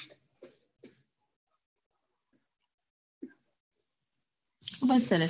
ખુબ જ સરસ